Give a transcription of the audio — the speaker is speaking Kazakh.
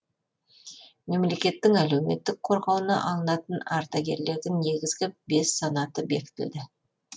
мемлекеттің әлеуметтік қорғауына алынатын ардагерлердің негізгі бес санаты бекітілді